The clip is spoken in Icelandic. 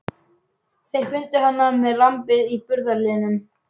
Þeir fundu hana með lambið í burðarliðnum.